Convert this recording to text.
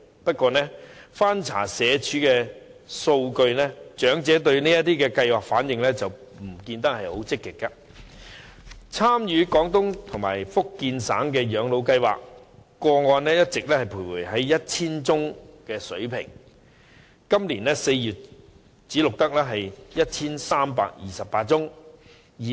不過，翻查社會福利署的數據，我發現長者對有關計劃的反應並不積極，例如參與綜援長者廣東及福建省養老計劃的個案一直徘徊在 1,000 多宗的水平，截至今年4月只錄得 1,328 宗。